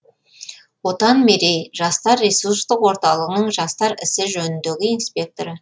отан мерей жастар ресурстық орталығының жастар ісі жөніндегі инспекторы